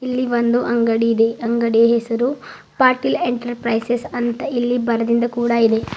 ಇಲ್ಲಿ ಒಂದು ಅಂಗಡಿ ಇದೆ ಅಂಗಡಿಯ ಹೆಸರು ಪಾಟೀಲ್ ಎಂಟರ್ಪ್ರೈಸಸ್ ಅಂತ ಇಲ್ಲಿ ಬರೆದಿದ್ದ ಕೂಡ ಇದೆ.